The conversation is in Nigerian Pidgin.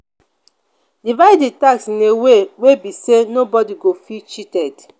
divide the task in a way wey be say no body go feel cheated